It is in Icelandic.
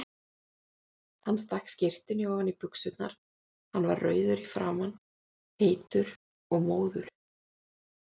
Hann stakk skyrtunni ofan í buxurnar, hann var rauður í framan, heitur og móður.